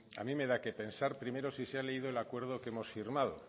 a mí me da qué pensar primero si se ha leído el acuerdo que hemos firmado